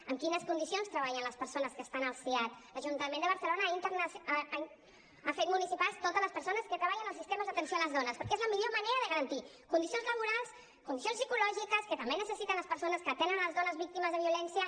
en quines condicions treballen les persones que estan al siad l’ajuntament de barcelona ha fet municipals totes les persones que treballen als sistemes d’atenció a les dones perquè és la millor manera de garantir condicions laborals condicions psicològiques que també necessiten les persones que atenen les dones víctimes de violència